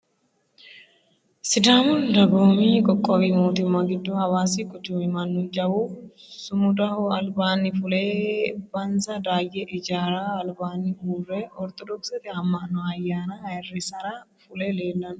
Sidaamu dagoomi qoqqowi mootimma giddo hawaasi quchumi Mannu jawu sumudaho albaanni fule bensa daayye ijaarira albaanni uurre ortodokisete ama'no ayyaana ayyirisara fule leellanno.